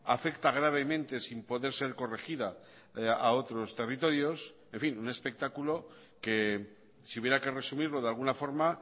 afecta gravemente sin poder ser corregida a otros territorios en fin un espectáculo que si hubiera que resumirlo de alguna forma